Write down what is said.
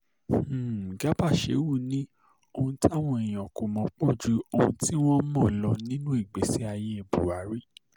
um garba sheu ni ohun táwọn èèyàn kò mọ̀ pó ju ohun tí wọ́n um mọ̀ lọ nínú ìgbésí ayé buhari